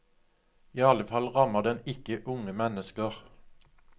I alle fall rammer den ikke unge mennesker.